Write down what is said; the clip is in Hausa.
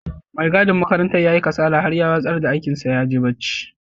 Mai gadin makarantar ya yi kasala har ya watsar da aikin sa ya je barci.